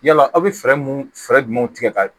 Yala aw bɛ fɛɛrɛ mun fɛɛrɛ jumɛn tigɛ ka